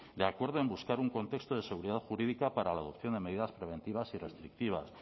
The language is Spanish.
de acuerdo en buscar un contexto de seguridad jurídica para la adopción de medidas preventivas y restrictivas